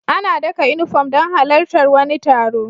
Ana daka inufom don halar tar wani taro